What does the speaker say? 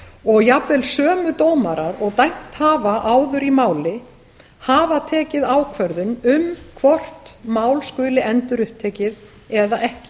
og jafnvel sömu dómarar og dæmt hafa áður í máli hafa tekið ákvörðun um hvort mál skuli endurupptekið eða ekki